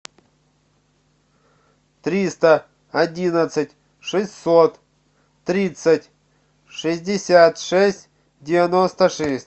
триста одиннадцать шестьсот тридцать шестьдесят шесть девяносто шесть